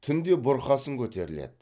түнде бұрқасын көтеріледі